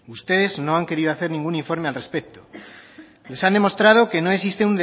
ustedes no han querido hacer ningún informe al respecto les han demostrado que no existe